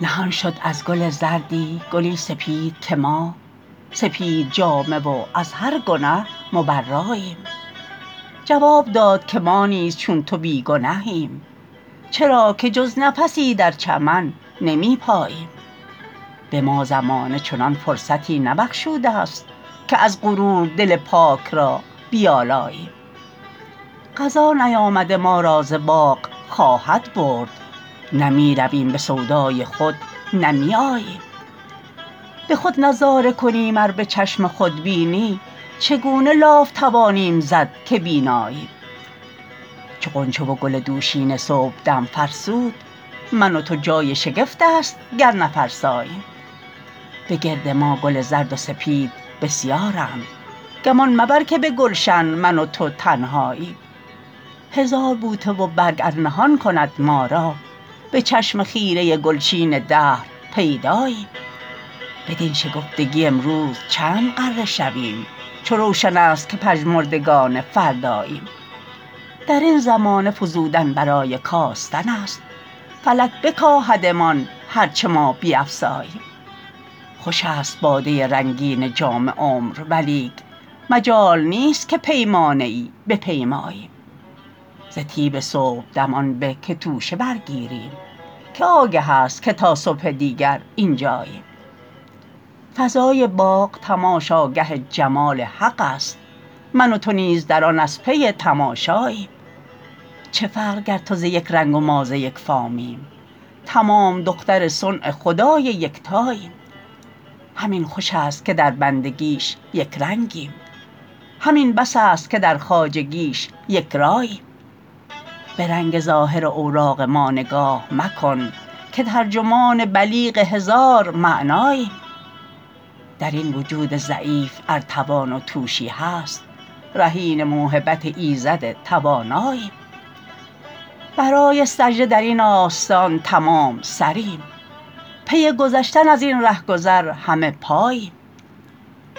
نهان شد از گل زردی گلی سپید که ما سپید جامه و از هر گنه مبراییم جواب داد که ما نیز چون تو بی گنهیم چرا که جز نفسی در چمن نمیپاییم بما زمانه چنان فرصتی نبخشوده است که از غرور دل پاک را بیالاییم قضا نیامده ما را ز باغ خواهد برد نه میرویم بسودای خود نه می آییم بخود نظاره کنیم ار بچشم خودبینی چگونه لاف توانیم زد که بیناییم چو غنچه و گل دوشینه صبحدم فرسود من و تو جای شگفت است گر نفرساییم بگرد ما گل زرد و سپید بسیارند گمان مبر که بگلشن من و تو تنهاییم هزار بوته و برگ ار نهان کند ما را به چشم خیره گلچین دهر پیداییم بدین شکفتگی امروز چند غره شویم چو روشن است که پژمردگان فرداییم درین زمانه فزودن برای کاستن است فلک بکاهدمان هر چه ما بیفزاییم خوش است باده رنگین جام عمر ولیک مجال نیست که پیمانه ای بپیماییم ز طیب صبحدم آن به که توشه برگیریم که آگه است که تا صبح دیگر اینجاییم فضای باغ تماشاگه جمال حق است من و تو نیز در آن از پی تماشاییم چه فرق گر تو ز یک رنگ و ما ز یک فامیم تمام دختر صنع خدای یکتاییم همین خوش است که در بندگیش یکرنگیم همین بس است که در خواجگیش یکراییم برنگ ظاهر اوراق ما نگاه مکن که ترجمان بلیغ هزار معناییم درین وجود ضعیف ار توان و توشی هست رهین موهبت ایزد تواناییم برای سجده درین آستان تمام سریم پی گذشتن ازین رهگذر همه پاییم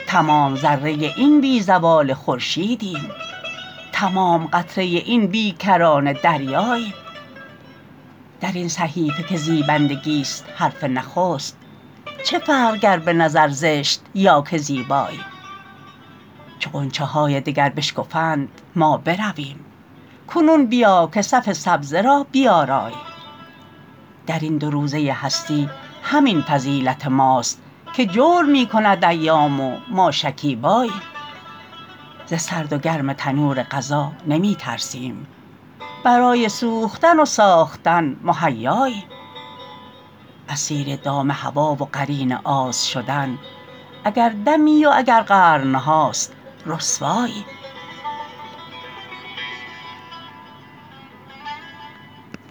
تمام ذره این بی زوال خورشیدیم تمام قطره این بی کرانه دریاییم درین صحیفه که زیبندگیست حرف نخست چه فرق گر بنظر زشت یا که زیباییم چو غنچه های دگر بشکفند ما برویم کنون بیا که صف سبزه را بیاراییم درین دو روزه هستی همین فضیلت ماست که جور میکند ایام و ما شکیباییم ز سرد و گرم تنور قضا نمیترسیم برای سوختن و ساختن مهیاییم اسیر دام هوی و قرین آز شدن اگر دمی و اگر قرنهاست رسواییم